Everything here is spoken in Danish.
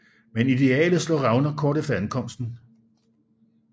Men idealet slår revner kort efter ankomsten